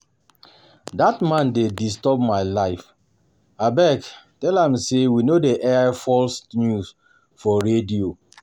Dat man dey disturb my life, abeg tell am say we no dey air false news for for radio